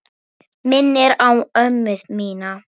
Minnir á ömmu mína.